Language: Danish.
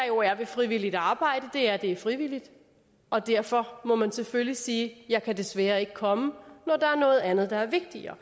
jo er ved frivilligt arbejde er at det er frivilligt og derfor må man selvfølgelig sige jeg kan desværre ikke komme når der er noget andet der er vigtigere